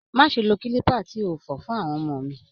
Máṣe lo kilipa tí o fọ fún àwọn ọmọ mi!